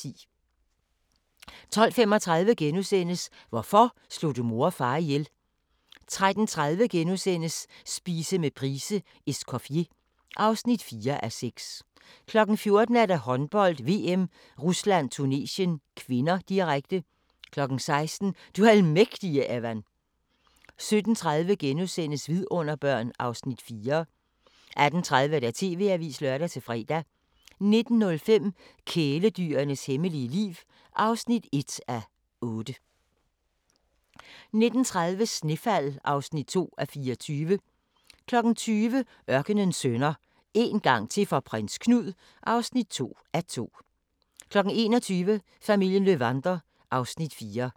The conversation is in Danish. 12:35: Hvorfor slog du mor og far ihjel? * 13:30: Spise med Price:"Escoffier" (4:6)* 14:00: Håndbold: VM - Rusland-Tunesien (k), direkte 16:00: Du almægtige, Evan 17:30: Vidunderbørn (Afs. 4)* 18:30: TV-avisen (lør-fre) 19:05: Kæledyrenes hemmelige liv (1:8) 19:30: Snefald (2:24) 20:00: Ørkenens Sønner – En gang til for Prins Knud (2:2) 21:00: Familien Löwander (Afs. 4)